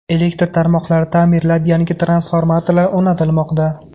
Elektr tarmoqlari ta’mirlanib, yangi transformatorlar o‘rnatilmoqda.